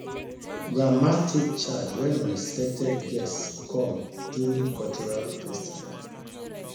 grandma take charge when unexpected guests come during cultural festival